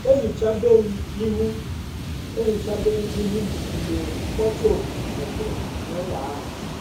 ehichabem ihu ehichabem ihu m mgbe mkpọtụ ọkụ malitere n'ụlọ ahụ